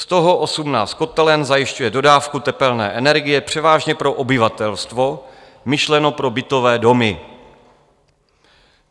Z toho 18 kotelen zajišťuje dodávku tepelné energie převážně pro obyvatelstvo, myšleno pro bytové domy.